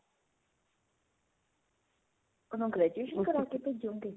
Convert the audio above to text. ਉਹਨੂੰ graduation ਕਰਾਕੇ ਭੇਜੋਗੇ